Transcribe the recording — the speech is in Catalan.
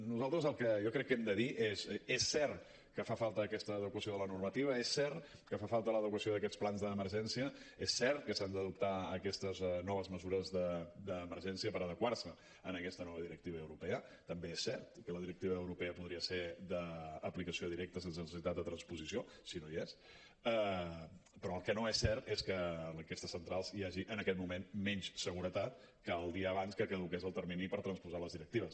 nosaltres el que jo crec que hem de dir és és cert que falta aquesta adequació de la normativa és cert que fa falta l’adequació d’aquests plans d’emergència és cert que s’han d’adoptar aquestes noves mesures d’emergència per adequar se a aquesta nova directiva europea també és cert i que la directiva europea podria ser d’aplicació directa sense necessitat de transposició si no hi és però el que no és cert és que en aquestes centrals hi hagi en aquest moment menys seguretat que el dia abans que caduqués el termini per transposar les directives